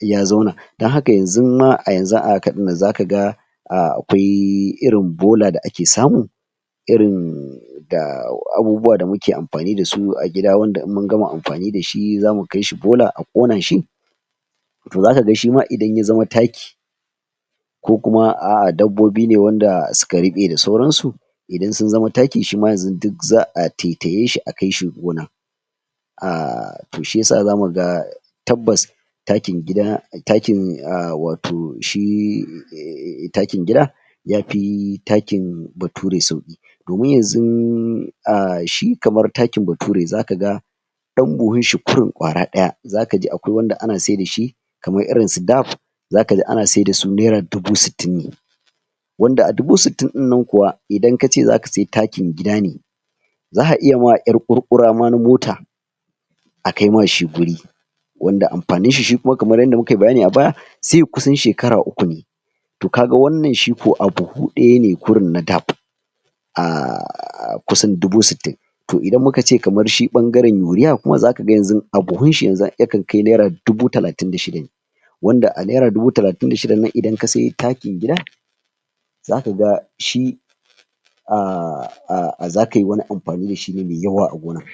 ya zauna don haka yanzun ma a yanzu a haka ɗinnan zakaga akwai irin bola da ake samu irin da abubuwa da muke amfani dasu a gida wanda in mun gama amfani dashi zamu kai shi bola a ƙona shi to zakaga shima idan ya zama taki ko kuma a'a dabbobi ne wanda suka ruɓe da sauransu idan sun zama taki, shima yanzun duk za'a taitaye shi akai shi gona umm to shiyasa zamuga tabbas takin gida, takin umm wato shi ummm takin gida yafi takin bature sauƙi domin yanzun umm shi kamar takin bature, zakaga ɗan buhun shi kurun ƙwara ɗaya, zakaji akwai wanda ana saida shi kamar irin su 'daf' zakaji ana saida su Naira dubu sittin ne wanda a dubu sittin ɗinnan kuwa idan kace zaka sai takin gidan ne za'a iya ma ƴar ƙurƙura ma na mota a kai ma shi guri wanda amfanin shi shi kuma kamar yanda mukayi bayani a baya sai ya kusan shekara uku ne kaga wannan shi ko a buhu ɗaya ne kurun na 'Daf' ummm kusan dubu sittin to idan muka ce shi kamar shi ɓangaren Urea kuma zakaga yanzun a buhun shi yanzun yakan kai Naira dubu talatin da shida ne wanda a Naira dubu talatin da shidan nan idan ka sai takin gida zakaga shi ummm um zakai wani amfani dashi ne mai yawa a wurin